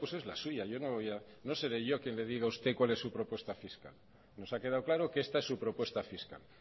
pues la suya yo no le voy a no seré yo que le digan a usted cuál es su propuesta fiscal nos ha quedado claro que esta es su propuesta fiscal